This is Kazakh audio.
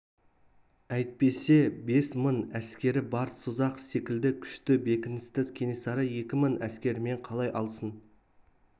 әйтпесе бес мың әскері бар созақ секілді күшті бекіністі кенесары екі мың әскерімен қалай алсын